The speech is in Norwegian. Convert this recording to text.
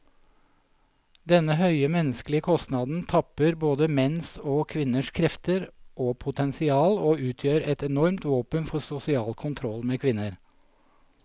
Denne høye menneskelige kostnaden tapper både menns og kvinners krefter og potensial, og utgjør et enormt våpen for sosial kontroll med kvinner.